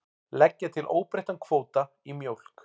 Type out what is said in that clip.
Leggja til óbreyttan kvóta í mjólk